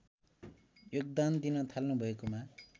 योगदान दिन थाल्नुभएकोमा